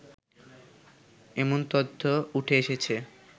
এমন তথ্য উঠে এসেছে